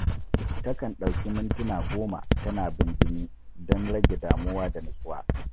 Ta kan ɗauki mintuna goma tana bimbini don rage damuwa da nutsuwa.